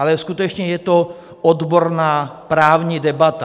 Ale skutečně je to odborná právní debata.